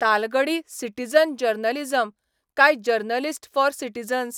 तालगडी citizen journalism 'काय 'journalist for citizens '?